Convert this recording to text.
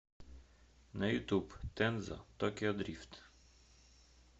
на ютуб тензо токио дрифт